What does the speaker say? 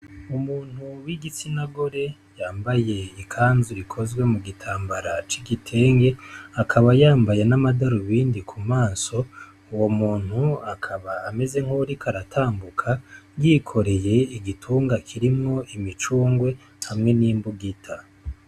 Umuntu w'igitsinagore yambaye ikanzu ikozwe mu gitambara c'igitenge akaba yambaye n'amadarubindi ku maso uwo muntu akaba ameze nkuwurik'aratambuka